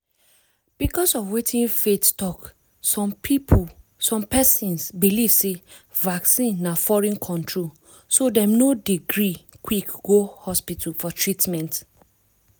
because of wetin faith talk some persons belief sey vaccine na foreign controlso dem no dey gree quick go hospital for treatment.